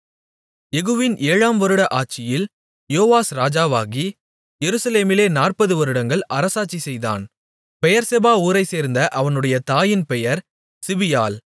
யெகூவின் ஏழாம் வருட ஆட்சியில் யோவாஸ் ராஜாவாகி எருசலேமிலே நாற்பது வருடங்கள் அரசாட்சி செய்தான் பெயெர்செபா ஊரைச் சேர்ந்த அவனுடைய தாயின் பெயர் சிபியாள்